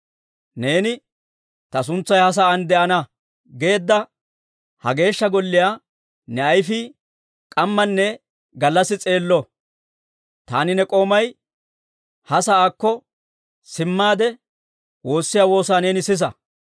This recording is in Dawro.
Neeni, ‹Ta suntsay he sa'aan de'ana› geedda ha Geeshsha Golliyaa ne ayfii k'ammanne gallassi s'eello. Taani ne k'oomay ha sa'aakko simmaade, woossiyaa woosaa neeni sisa.